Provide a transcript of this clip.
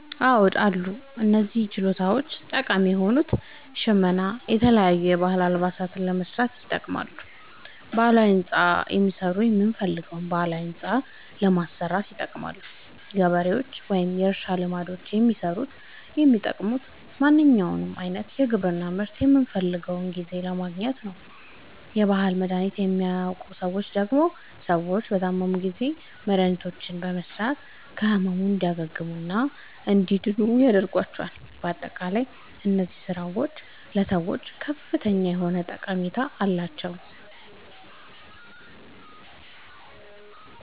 አዎድ አሉ። እነዚህ ችሎታዎች ጠቃሚ የሆኑት ሸመና የተለያዩ የባህል አልባሳትን ለመስራት ይጠቅማሉ። ባህላዊ ህንፃ የሚሠሩት የምንፈልገዉን ባህላዊ ህንፃ ለማሠራት ይጠቅማሉ። ገበሬዎች ወይም የእርሻ ልማዶችን የሚሠሩት የሚጠቅሙት ማንኛዉንም አይነት የግብርና ምርት በምንፈልገዉ ጊዜ ለማግኘት ነዉ። የባህል መድሀኒቶችን የሚያዉቁ ሠዎች ደግሞ ሰዎች በታመሙ ጊዜ መድሀኒቶችን በመስጠት ከህመሙ እንዲያግሙና እንዲድኑ ያደርጓቸዋል። በአጠቃላይ እነዚህ ስራዎች ለሰዎች ከፍተኛ የሆነ ጠቀሜታ አላቸዉ።